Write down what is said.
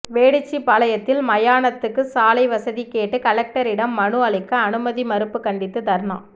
வேடிச்சிபாளையத்தில் மயானத்துக்கு சாலை வசதி கேட்டு கலெக்டரிடம் மனு அளிக்க அனுமதி மறுப்பு கண்டித்து தர்ணா